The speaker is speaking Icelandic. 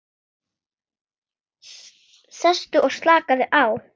Sestu og slakaðu á.